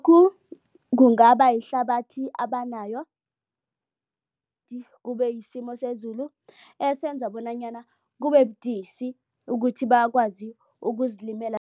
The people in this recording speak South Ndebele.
Kungaba yihlabathi abanayo kubeyisimo sezulu esenza bonanyana kubebudisi ukuthi bakwazi ukuzilimela.